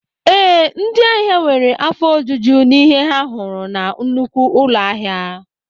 Ee, ndị ahịa nwere afọ ojuju n'ihe ha hụrụ na nnukwu ụlọ ahịa